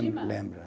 lembra